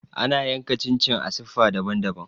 Ana yanka chin chin a siffa daban-daban.